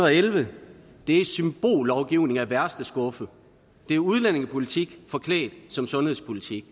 elleve er symbollovgivning af værste skuffe det er udlændingepolitik forklædt som sundhedspolitik